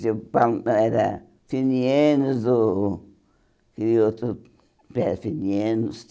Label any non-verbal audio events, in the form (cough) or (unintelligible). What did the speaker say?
Tipo, (unintelligible) era Finianos o e outro Pé Finianos.